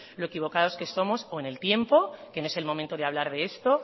lo equivocados que somos o en el tiempo que no es el momento de hablar de esto